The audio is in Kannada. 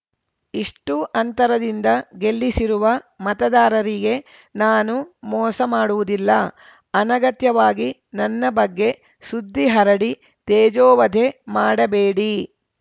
ಇಷ್ಟುಅಂತರದಿಂದ ಗೆಲ್ಲಿಸಿರುವ ಮತದಾರರಿಗೆ ನಾನು ಮೋಸ ಮಾಡುವುದಿಲ್ಲ ಅನಗತ್ಯವಾಗಿ ನನ್ನ ಬಗ್ಗೆ ಸುದ್ದಿ ಹರಡಿ ತೇಜೋವಧೆ ಮಾಡಬೇಡಿ